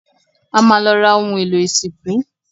A ma lọ ra ohun èlò ìsìnkú